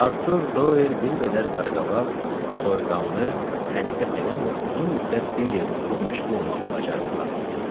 Artur Doel bir qədər qaraqabaq, soyuqqanlı, səliqə sevən və uzun müddət bir yerdə oturub məşğul olmağı bacaran adam idi.